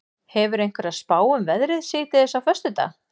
hefurðu einhverja spá um veðrið síðdegis á föstudag